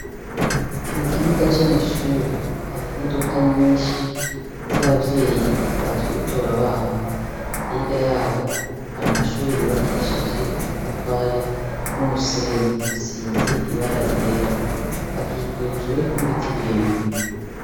Mu kibuga c' amashure hari imodoka nyinshi z' abavyeyi baje gutora abana. Hirya yaho, hari amashure yubakishije amatafari n' umusenyi asize ibara ryera. Akikujwe n' ibiti birebire.